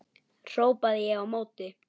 hrópaði ég á móti.